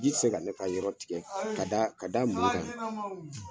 Ji te se ka ne ka yɔrɔ tigɛ ka da ka da mu kan